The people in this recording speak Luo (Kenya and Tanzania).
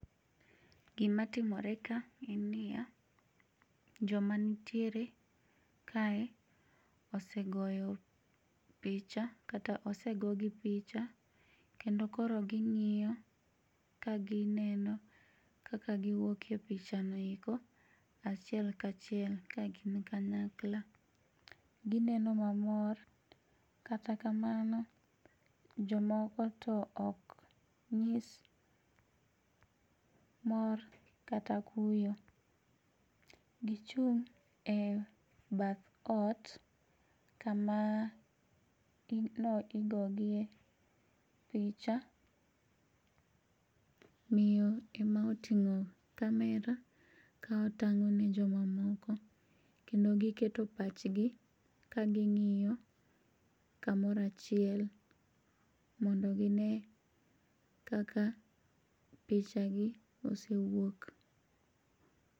Gima timore ka en niya, joma nitiere kae ose goyo picha kata osegogi picha kendo koro ging'iyo ka gineno kaka giwuok e pichano eko achiel ka chiel kagin kanyakla. Gineno mamor, kata kamano jomoko to ok nyis mor kata kuyo gichung' e bath ot kama ne igogiye picha, miyo ema oting'o camera ka otang'o ne joma moko kendo giketo pachgi ka ging'iyo kamoro achiel mondo gine kaka picha gi osewuok.